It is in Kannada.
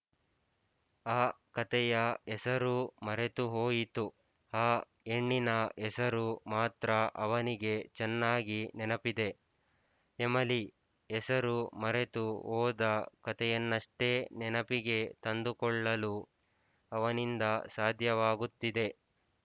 ಆ ಕಥೆಯ ಹೆಸರೂ ಮರೆತು ಹೋಯಿತು ಆ ಹೆಣ್ಣಿನ ಹೆಸರು ಮಾತ್ರ ಅವನಿಗೆ ಚೆನ್ನಾಗಿ ನೆನಪಿದೆ ಎಮಲಿ ಹೆಸರು ಮರೆತು ಹೋದ ಕಥೆಯನ್ನಷ್ಟೇ ನೆನಪಿಗೆ ತಂದುಕೊಳ್ಳಲು ಅವನಿಂದ ಸಾಧ್ಯವಾಗುತ್ತಿದೆ